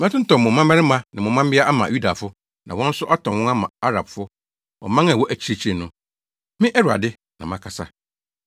Mɛtontɔn mo mmabarima ne mo mmabea ama Yudafo, na wɔn nso atɔn wɔn ama Arabfo, ɔman a ɛwɔ akyirikyiri no.” Me, Awurade, na makasa.